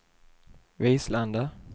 Vislanda